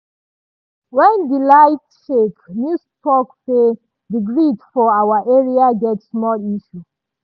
wen di light shake news talk say di grid for our side get small issue.